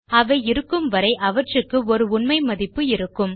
அவை இருக்கும் வரை அவற்றுக்கு ஒரு உண்மை மதிப்பு இருக்கும்